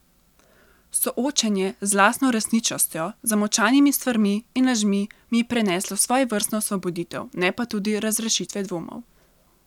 Soočenje z lastno resničnostjo, zamolčanimi stvarmi in lažmi mi je prineslo svojevrstno osvoboditev, ne pa tudi razrešitve dvomov.